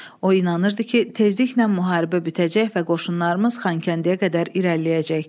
O inanırdı ki, tezliklə müharibə bitəcək və qoşunlarımız Xankəndiyə qədər irəliləyəcək.